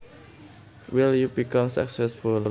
Will you become successful